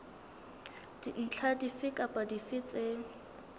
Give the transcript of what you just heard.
dintlha dife kapa dife tse